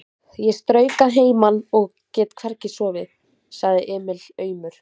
Ég strauk að heiman og ég get hvergi sofið, sagði Emil aumur.